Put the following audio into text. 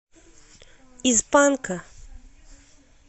из панка